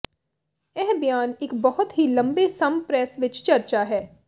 ਇਹ ਬਿਆਨ ਇੱਕ ਬਹੁਤ ਹੀ ਲੰਬੇ ਸਮ ਪ੍ਰੈਸ ਵਿਚ ਚਰਚਾ ਹੈ